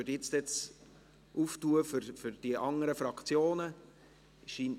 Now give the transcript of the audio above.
Dann würde ich nun die Debatte für die anderen Fraktionen öffnen.